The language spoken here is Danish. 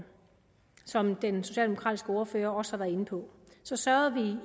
som den socialdemokratiske ordfører også har været inde på sørgede